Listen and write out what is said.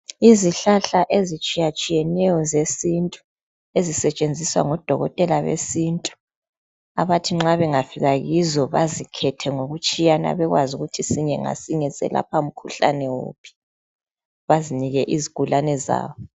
Izihlahla ezitshiyatshiyeneyo zesintu ezisetshenziswa ngodokotela besintu abathi nxa bengafika kizo bazikhethe ngokutshiyana kwazo ukuthi sinye ngasinye selapha mkhuhlane wuphi bazinike izigulane zabo.